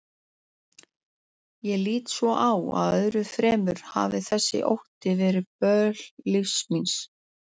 Ég lít svo á að öðru fremur hafi þessi ótti verið böl lífs míns.